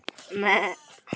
Því lengur því betra.